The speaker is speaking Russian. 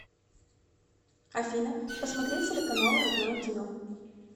афина посмотреть телеканал родное кино